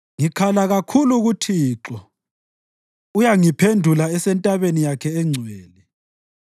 Ngikhala kakhulu kuThixo uyangiphendula esentabeni yakhe engcwele.